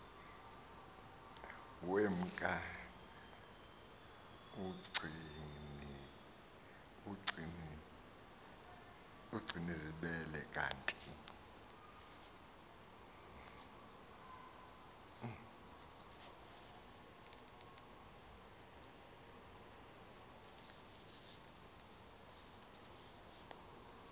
wemka ugcinizibele kanti